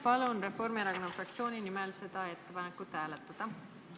Palun Reformierakonna fraktsiooni nimel seda ettepanekut hääletada!